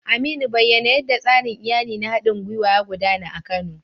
Aminu, bayyana yadda tsarin iyali na haɗin gwiwa ya gudana a Kano